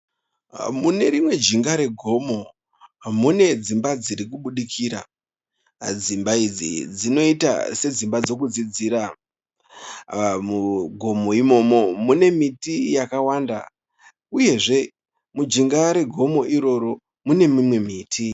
Mune rimwe jinga regomo mune dzimba dziri kubudikira. Dzimba idzi dzinoita sedzimba dzokudzidzira. Mugomo imomo mune miti yakawanda uyezve mujinga regomo iroro mune mimwe miti.